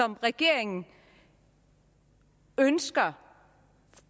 regeringen ønsker